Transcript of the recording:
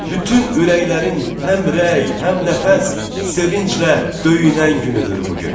Bütün ürəklərin həmrəy, həmnəfəs sevinclə döyünən günüdür bu gün.